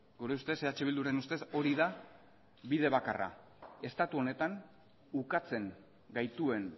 gure ustez eh bilduren ustez hori da bide bakarra estatu honetan ukatzen gaituen